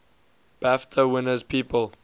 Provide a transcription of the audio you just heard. bafta winners people